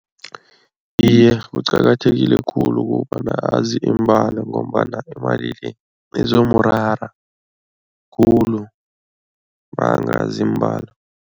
Iye, kuqakathekile khulu kukobana azi imbalo ngombana imali le izomurara khulu makangazi imbalo.